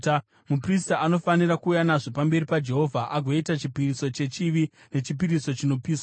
“ ‘Muprista anofanira kuuya nazvo pamberi paJehovha agoita chipiriso chechivi nechipiriso chinopiswa.